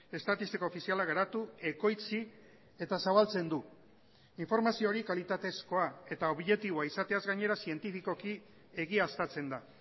estatistiko ofiziala garatu ekoitzi eta zabaltzen du informazio hori kalitatezkoa eta objektiboa izateaz gainera zientifikoki egiaztatzen da